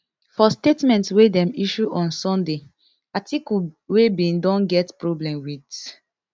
for statement wey dem issue on sunday atiku wey bin don get problem wit